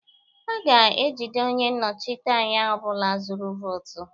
A ga-ejide onye nnọchiteanya ọ bụla zụrụ votu